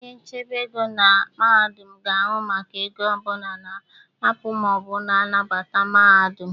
Onye ochebe ego na mahadum na-ahụ maka ego ọ bụla na-apụ ma ọ bụ na-abata mahadụm.